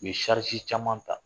U ye caman ta